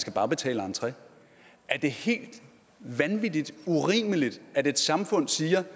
skal bare betale entre er det helt vanvittig urimeligt at et samfund siger